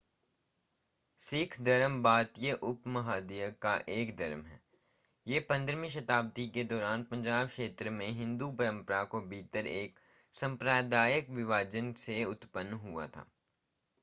सिख धर्म भारतीय उपमहाद्वीप का एक धर्म है यह 15वीं शताब्दी के दौरान पंजाब क्षेत्र में हिंदू परंपरा के भीतर एक सांप्रदायिक विभाजन से उत्पन्न हुआ था